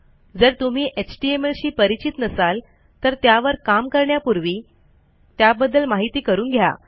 जर तुम्ही एचटीएमएल शी परिचित नसाल तर त्यावर काम करण्यापूर्वी त्याबद्दल माहिती करून घ्या